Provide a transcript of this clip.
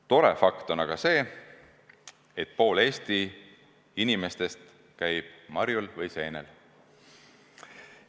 Tore fakt on aga see, et pool Eesti inimestest käib marjul või seenel.